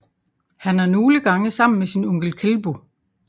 Han er nogle gange sammen med sin onkel Kelbo